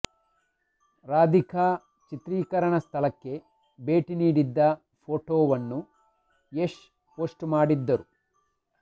ರಾಧಿಕಾ ಚಿತ್ರೀಕರಣ ಸ್ಥಳಕ್ಕೆ ಭೇಟಿ ನೀಡಿದ್ದ ಫೋಟೋವನ್ನು ಯಶ್ ಪೋಸ್ಟ್ ಮಾಡಿದ್ದರು